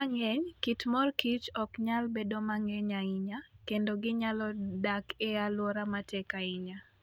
Kinde mang'eny, kit mor kich ok nyal bedo mang'eny ahinya, kendo ginyalo dak e alwora matek ahinya.